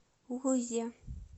лузе